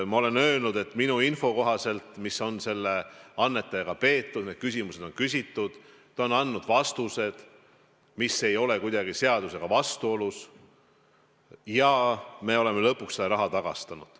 Ma olen öelnud, et minu info kohaselt on selle annetajaga räägitud, küsimused on küsitud, ta on andnud vastused – see ei ole kuidagi seadusega vastuolus – ja me oleme lõpuks selle raha tagastanud.